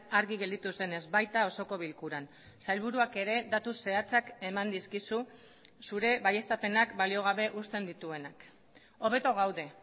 argi gelditu zenez baita osoko bilkuran sailburuak ere datu zehatzak eman dizkizu zure baieztapenak balio gabe uzten dituenak hobeto gaude